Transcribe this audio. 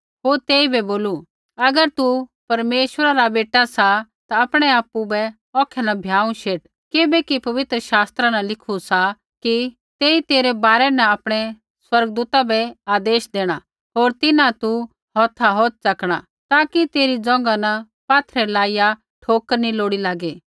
होर तेइबै बोलू अगर तू परमेश्वरा रा बेटा सा ता आपणै आपु बै औखै न भ्याँऊ शेट किबैकि पवित्र शास्त्रा न लिखू सा कि तेई तेरै बारै न आपणै स्वर्गदूता बै आदेश देणा होर तिन्हां तू हौथा हौथ च़कणा ताकि तेरी ज़ोंघा न पात्थरै लाइया ठोकर नी लोड़ी लागी